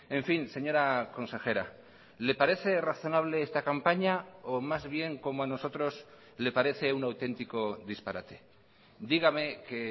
en fin señora consejera le parece razonable esta campaña o más bien como a nosotros le parece un auténtico disparate dígame que